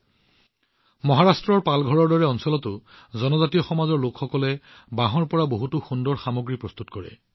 আনকি মহাৰাষ্ট্ৰৰ পালঘৰৰ দৰে অঞ্চলতো জনজাতীয় লোকসকলে বাঁহৰ পৰা বহুতো সুন্দৰ সামগ্ৰী প্ৰস্তুত কৰে